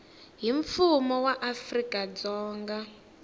hi mfumo wa afrika dzonga